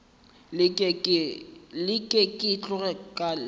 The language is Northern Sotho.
leke ke tloge ke leme